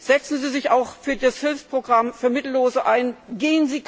Setzen Sie sich auch für das Hilfsprogramm für Mittellose ein!